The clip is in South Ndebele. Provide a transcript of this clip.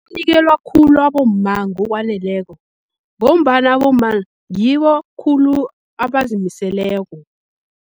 Unikelwa khulu abomma ngokwaneleko, ngombana abomma ngibo khulu abazimiseleko.